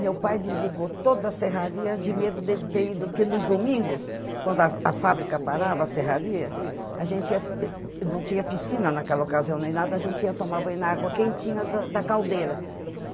Meu pai desligou toda a serraria de medo dele ter ido, porque nos domingos, quando a a fábrica parava, a serraria, a gente ia ê... não tinha piscina naquela ocasião nem nada, a gente ia tomar banho na água quentinha da da caldeira.